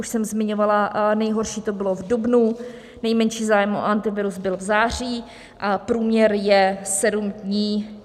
Už jsem zmiňovala, nejhorší to bylo v dubnu, nejmenší zájem o Antivirus byl v září a průměr je sedm dní.